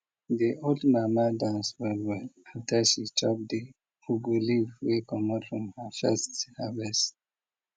de old mama dance well well after she chop de ugu leaf wey comot from her first harvest